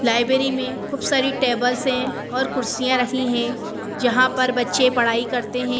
Library में खूब सारी टेबल्स हैं और कुर्सियां रखी हैं जहां पर बच्चे पढ़ाई करते हैं।